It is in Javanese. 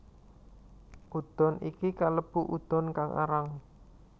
Udon iki kalebu udon kang arang